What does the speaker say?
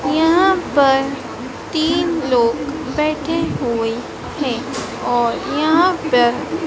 यहां पर तीन लोग बैठे हुए हैं और यहां पर--